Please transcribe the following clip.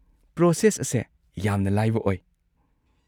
Process ꯑꯁꯦ ꯌꯥꯝꯅ ꯂꯥꯏꯕ ꯑꯣꯏ꯫